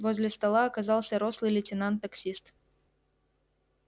возле стола оказался рослый лейтенант таксист